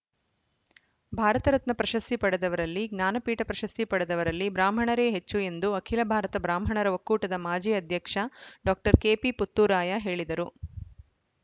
ಭಾರತರತ್ನ ಪ್ರಶಸ್ತಿ ಪಡೆದವರಲ್ಲಿ ಜ್ಞಾನಪೀಠ ಪ್ರಶಸ್ತಿ ಪಡೆದವರಲ್ಲಿ ಬ್ರಾಹ್ಮಣರೇ ಹೆಚ್ಚು ಎಂದು ಅಖಿಲ ಭಾರತ ಬ್ರಾಹ್ಮಣರ ಒಕ್ಕೂಟದ ಮಾಜಿ ಅಧ್ಯಕ್ಷ ಡಾಕ್ಟರ್ ಕೆಪಿ ಪುತ್ತೂರಾಯ ಹೇಳಿದರು